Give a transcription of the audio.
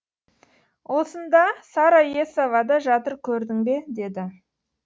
осында сара есова да жатыр көрдің бе деді